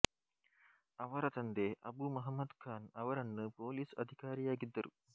ಅವರ ತಂದೆ ಅಬು ಮೊಹಮ್ಮದ್ ಖಾನ್ ಅವರನ್ನು ಪೊಲೀಸ್ ಅಧಿಕಾರಿಯಾಗಿದ್ದರು